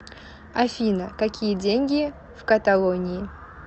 афина какие деньги в каталонии